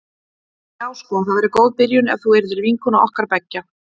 Já sko það væri góð byrjun ef þú yrðir vinkona okkar beggja.